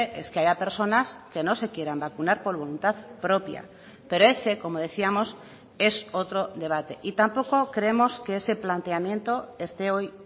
es que haya personas que no se quieran vacunar por voluntad propia pero ese como decíamos es otro debate y tampoco creemos que ese planteamiento este hoy